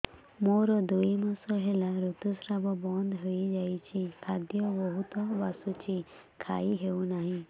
ମୋର ଦୁଇ ମାସ ହେଲା ଋତୁ ସ୍ରାବ ବନ୍ଦ ହେଇଯାଇଛି ଖାଦ୍ୟ ବହୁତ ବାସୁଛି ଖାଇ ହଉ ନାହିଁ